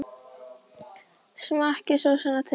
Smakkið sósuna til.